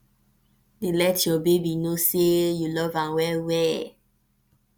dey let yur baby no say yu luv am wel wel